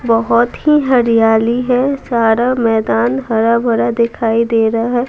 बहुत ही हरियाली है सारा मैदान हरा भड़ा दिखाई दे रहा है।